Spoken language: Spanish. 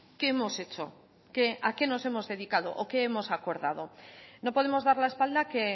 qué hemos hecho a qué nos hemos dedicado o qué hemos acordado no podemos dar la espalda que